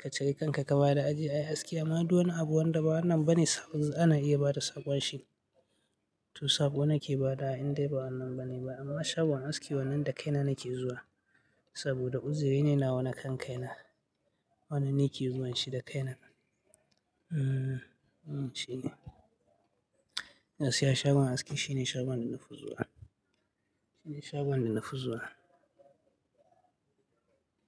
ka cika kanka ka bada aji, ai aski amma duwana abu wanda bawannan bane saƙo ana iya bada saƙon shi. To saƙo nake ba da indai bawannan bane ba amma shagon aski wannan da kaina nake zuwa saboda uziri ne na wana kan kaina. Wannan ni ke zuwa shi da kaina. Mm, mm shine. Gaskiya shagon aski shine shagon da nafi zuwa. Shine shagon da nafi zuwa.